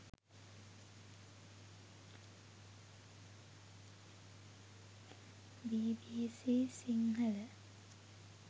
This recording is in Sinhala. bbc sinhala